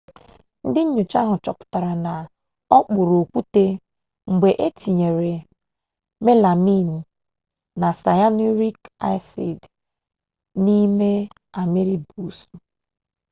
ndị nnyocha ahụ chọpụtara na ọ kpụrụ okwute mgbe e tinyere melamin na siyanurik asid n'ime amịrị buusu